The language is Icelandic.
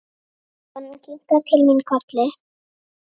Konan kinkar til mín kolli.